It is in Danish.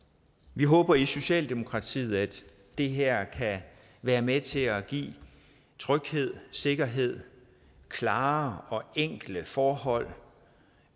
vi håber i socialdemokratiet at det her kan være med til at give tryghed sikkerhed klare og enkle forhold og